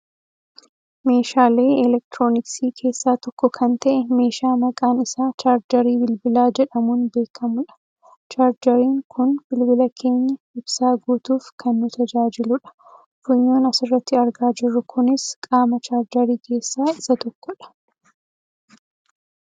meeshalee elektirooniksii keessaa tokko kan ta'e meeshaa maqaan isaa chaarjerii bilbilaa jedhamuun beekkamudha. chaarjeriin kun bilbila keenya ibsaa guutuuf kan nu tajaajiludha. funyooon asirratti argaa jirru kunis qaama chaarjerii keessaa isa tokkodha.